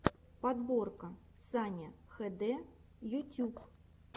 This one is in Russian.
подборка саня хд ютюб